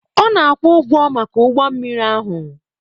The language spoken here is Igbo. Ọ na-akwụ ụgwọ maka ụgbọ mmiri ahụ.